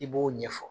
I b'o ɲɛfɔ